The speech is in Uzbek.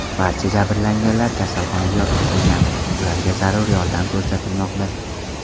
Barcha jabrlanganlar kasalxonaga yotqizilgan, ularga zarur yordam ko‘rsatilmoqda.